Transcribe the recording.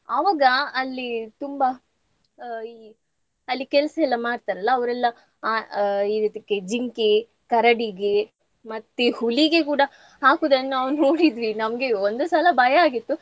ಅವಾಗ ಅಲ್ಲಿ ತುಂಬಾ ಆ ಈ ಅಲ್ಲಿ ಕೆಲ್ಸ ಎಲ್ಲ ಮಾಡ್ತಾರಲ್ಲಾ ಅವ್ರೆಲ್ಲ ಆ ಆ ಈ ರೀತಿ ಕೆ~ ಜಿಂಕೆ, ಕರಡಿಗೆ ಮತ್ತೆ ಹುಲಿಗೆ ಕೂಡಾ ಹಾಕುದನ್ನು ನಾವು ನೋಡಿದ್ವಿ ನಮ್ಗೆ ಒಂದು ಸಲ ಭಯ ಆಗಿತ್ತು.